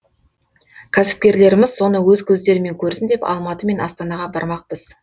кәсіпкерлеріміз соны өз көздерімен көрсін деп алматы мен астанаға бармақпыз